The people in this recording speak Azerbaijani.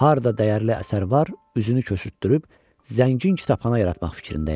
Harda dəyərli əsər var, üzünü köçürtdürüb zəngin kitabxana yaratmaq fikrindəyəm.